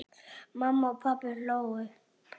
Mamma og pabbi hlógu.